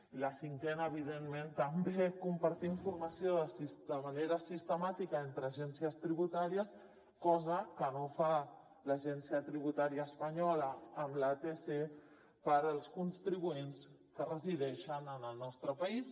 i la cinquena evidentment també compartir informació de manera sistemàtica entre agències tributàries cosa que no fa l’agència tributària espanyola amb l’atc per als contribuents que resideixen en el nostre país